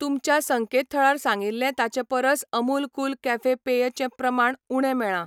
तुमच्या संकेतथळार सांगिल्लें ताचे परस अमूल कूल कॅफे पेय चें प्रमाण उणें मेळ्ळां.